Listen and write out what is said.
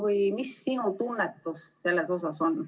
Või mis sinu tunnetus on?